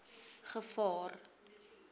gevaar